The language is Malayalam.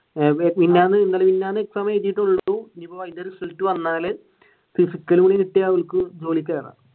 മിനിനാന്ന് ഇന്നലെ മിനിനാന്ന് exam എഴുതിട്ടുള്ളു അപ്പൊ അതിന്റെ റിസൾട്ട് വന്നാൽ physical കൂടി കിട്ടിയ അവനിക്ക് ജോലിക്ക് കയറാം.